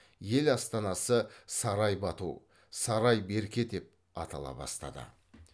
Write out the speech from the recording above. ел астанасы сарай бату сарай берке деп атала бастады